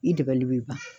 I dɛmɛli b'i kan